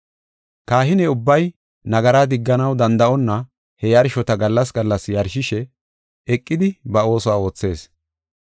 Kahine ubbay, nagara digganaw danda7onna he yarshota gallas gallas yarshishe eqidi ba oosuwa oothees.